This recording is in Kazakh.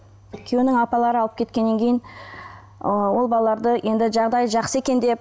күйеуінің апалары алып кеткеннен кейін ы ол балаларды енді жағдайы жақсы екен деп